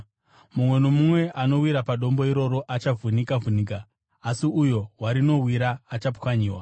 Mumwe nomumwe anowira padombo iroro achavhunika-vhunika asi uyo warinowira achapwanyiwa.”